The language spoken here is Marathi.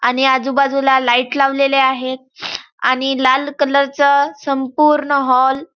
आणि आजूबाजूला लाइट लावलेले आहेत आणि लाल कलर च संपूर्ण हॉल --